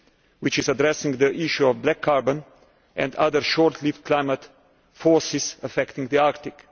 which is addressing the issue of black carbon and other short lived climate forces affecting the Arctic.